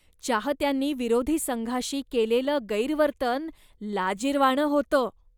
चाहत्यांनी विरोधी संघाशी केलेलं गैरवर्तन लाजिरवाणं होतं.